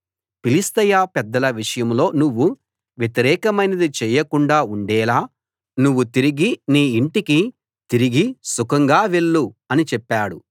ఫిలిష్తీయ పెద్దల విషయంలో నువ్వు వ్యతిరేకమైనది చేయకుండా ఉండేలా నువ్వు తిరిగి నీ ఇంటికి తిరిగి సుఖంగా వెళ్ళు అని చెప్పాడు